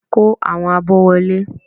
Kó àwọn abọ́ wọlé!